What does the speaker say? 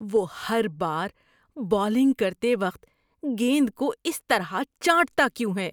وہ ہر بار بولنگ کرتے وقت گیند کو اس طرح چاٹتا کیوں ہے؟